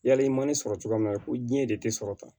Yali i ma ne sɔrɔ cogoya min na ko diɲɛ de te sɔrɔ tan